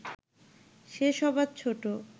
সে সবার ছোট